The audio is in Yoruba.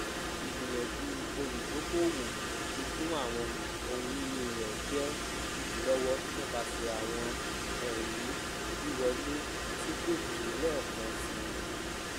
igbiyanju oludokoowo lati fikun awọn ohunini rẹ jẹ idilọwọ nipasẹ awọn ẹri wiwọle ti ko tọ lẹẹkansi